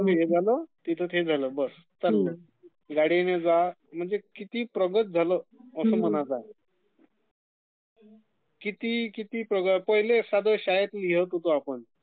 इथे हे झालं...तिथे ते झालं...बस चालंल.....गाडीने जा....म्हणजे किती प्रगतं झालं...असं म्हणत आहे...किती किती पहिले कसं नुसतं शाळेत जा